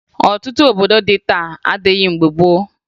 Ọtụtụ obodo dị taa adịghị mgbe gboo